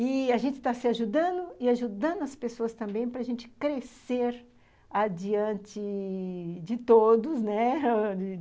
E a gente está se ajudando e ajudando as pessoas também para gente crescer adiante... de todos, né?